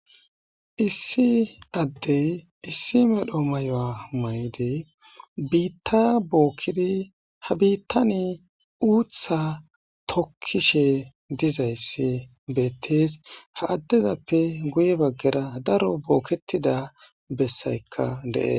issi addey issi medho mayoa maydi biitta bookkidi ha biittani uutha tokkishe dizayssi beettees ha addezappe guye baggera daro bookketida bessaykka de7e